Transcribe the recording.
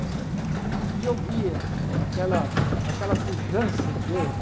Tá certo e eu via aquela aquela pujança em verde.